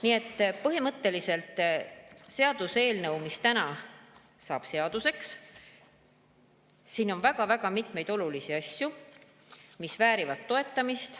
Nii et põhimõtteliselt seaduseelnõus, mis täna saab seaduseks, on väga-väga mitmeid olulisi asju, mis väärivad toetamist.